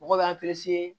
Mɔgɔw b'a